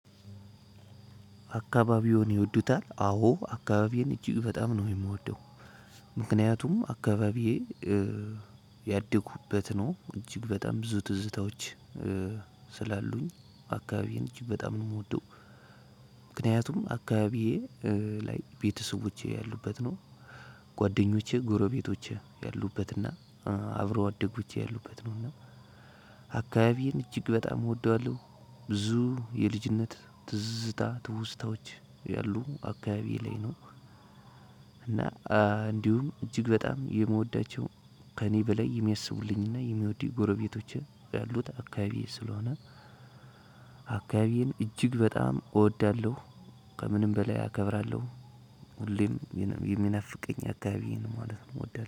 አካባቢዎን ይወዱታል አዎ አካባቢዬን እጅግ በጣም ነው የምወደው። ምክንያቱም አካባቢዬ ያደኩበት ነው እጅግ በጣም ብዙ ትዝታዎች ስላሉኝ አካባቢዬን እጅግ በጣም ነው የምወደው። ምክንያቱም አካባቢዬ ላይ ቤተሰቦቼ ያሉበት ነው ጓደኞቼ ጎረቤቶቼ ያሉበት እና አብሮ አደጎቼ ያሉበት ነው እና አካባቢዬን እጅግ በጣም እወደዋለሁ። ብዙ የልጅነት ትዝታ ትውስታዎች ያሉ አካባቢዬ ላይ ነው። እና እንዲሁም እጅግ በጣም የምወዳቸው ከእኔ በላይ የሚያስቡልኝና የሚወዱኝ ጎረቤቶቼ ያሉት አካባቢዬ ስለሆነ አካባቢዬን እጅግ በጣም እወዳለሁ። ከምንም በላይ አከብራለሁ። ሁሌም የሚናፍቀኝ አካባቢዬ ነው ማለት ነው። እወዳለ